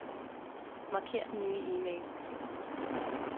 Marker den nye e-mail.